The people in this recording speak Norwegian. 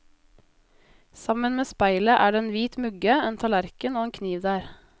Sammen med speilet er det en hvit mugge, en tallerken og en kniv der.